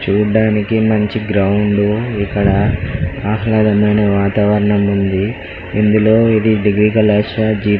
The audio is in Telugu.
చూడటానికి మంచి గ్రౌండ్ ఇక్కడ ఆహ్లాదకరమైన వాతావరణం ఉంది ఇందులో డిగ్రీ కళాశాల